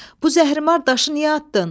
Bu zəhrimar daşı niyə atdın?